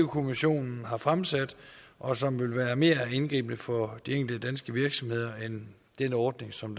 kommissionen har fremsat og som vil være mere indgribende for de enkelte danske virksomheder end den ordning som